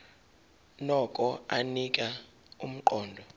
nokho anika umqondo